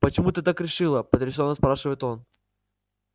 почему ты так решила потрясенно спрашивает он